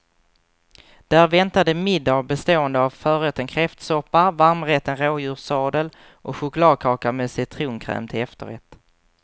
Där väntade middag bestående av förrätten kräftsoppa, varmrätten rådjurssadel och chokladkaka med citronkräm till efterrätt.